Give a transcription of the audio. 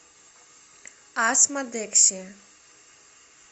асмодексия